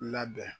Labɛn